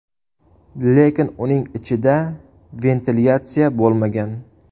Lekin uning ichida ventilyatsiya bo‘lmagan”.